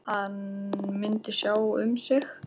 Hann myndi sjá um sig.